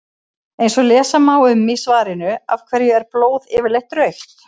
eins og lesa má um í svarinu af hverju er blóð yfirleitt rautt